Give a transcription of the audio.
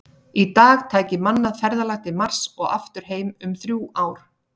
Í dag tæki mannað ferðalag til Mars og aftur heim um þrjú ár.